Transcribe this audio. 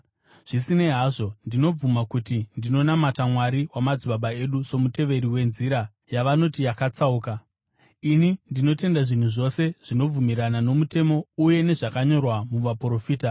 Zvisinei hazvo, ndinobvuma kuti ndinonamata Mwari wamadzibaba edu somuteveri weNzira, yavanoti yakatsauka. Ini ndinotenda zvinhu zvose zvinobvumirana nomutemo uye nezvakanyorwa muVaprofita,